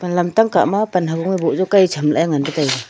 aga lamtang kah ma panhangbu boh jaw kai cham lah ei ngan taiga.